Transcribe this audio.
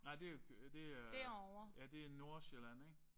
Nej det jo det er ja det er Nordsjælland ik?